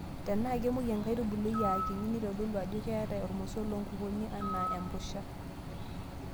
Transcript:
Tenaa kemuoi enkaitubului Eton aakinyi naa keitodolu Ajo keeta irmosorr loo nkukuni anaa empusha.